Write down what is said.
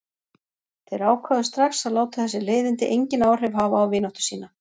Þeir ákváðu strax að láta þessi leiðindi engin áhrif hafa á vináttu sína.